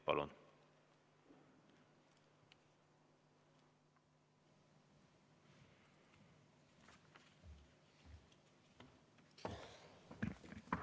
Palun!